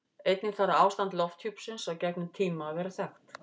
Einnig þarf ástand lofthjúpsins á gefnum tíma að vera þekkt.